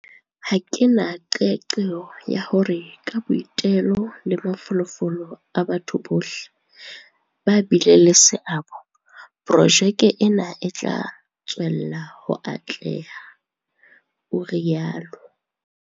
"Ha ke na qeaqeo ya hore ka boitelo le mafolofolo a batho bohle ba bileng le seabo, projeke ena e tla tswella ho atleha," o rialo.